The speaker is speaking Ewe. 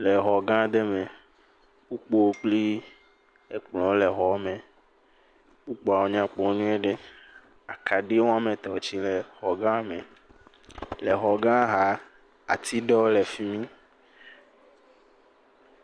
le xɔ gã ɖɛ mɛ kpukpowo kpli ekplɔwo le xɔme kpukpɔwo nyakpɔ nyuiɖe akaɖi woametɔ̃ tsi le xɔ gã me le xɔ gã xa atiɖewo le fimi